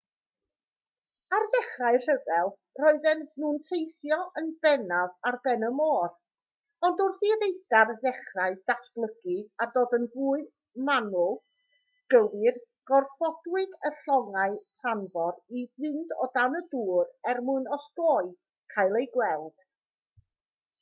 ar ddechrau'r rhyfel roedden nhw'n teithio yn bennaf ar ben y môr ond wrth i radar ddechrau datblygu a dod yn fwy manwl gywir gorfodwyd y llongau tanfor i fynd o dan y dŵr er mwyn osgoi cael eu gweld